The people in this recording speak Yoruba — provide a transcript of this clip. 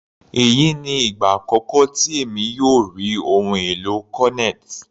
Èyí ni ìgbà àkọ́kọ́ tí èmi yóò rí ohun èlò cornet.